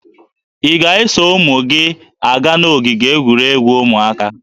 Ị ga-eso ụmụ gị aga n'ogige egwuregwu ụmụaka?